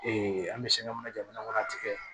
an bɛ sɛbɛn min na jamana kɔnɔ a tigɛ